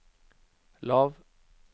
lav